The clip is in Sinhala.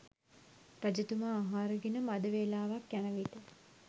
රජතුමා ආහාර ගෙන මඳ වේලාවක් යන විට